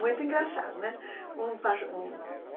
Muito engraçado, não é? Um pas um